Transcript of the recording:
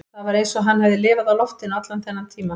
Það var eins og hann hefði lifað á loftinu allan þennan tíma